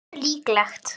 Hversu líklegt?